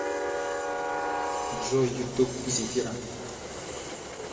джой ютуб земфира